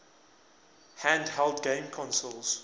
handheld game consoles